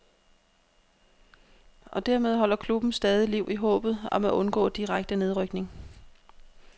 Og dermed holder klubben stadig liv i håbet om at undgå direkte nedrykning.